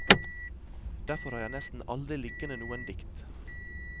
Derfor har jeg nesten aldri liggende noen dikt.